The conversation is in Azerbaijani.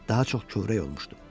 Daha çox kövrək olmuşdu.